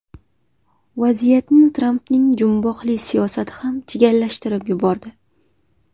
Vaziyatni Trampning jumboqli siyosati ham chigallashtirib yubordi.